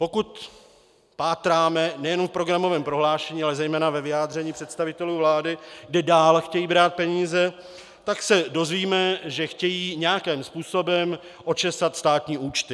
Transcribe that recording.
Pokud pátráme nejenom v programovém prohlášení, ale zejména ve vyjádření představitelů vlády, kde dále chtějí brát peníze, tak se dozvíme, že chtějí nějakým způsobem očesat státní účty.